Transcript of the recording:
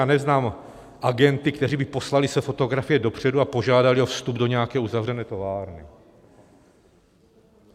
Já neznám agenty, kteří by poslali své fotografie dopředu a požádali o vstup do nějaké uzavřené továrny.